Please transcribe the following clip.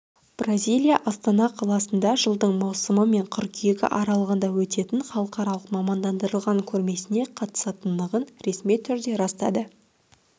бразилия астана қаласында жылдың маусымы мен қыркүйегі аралығында өтетін халықаралық мамандандырылған көрмесіне қатысатынын ресми түрде растады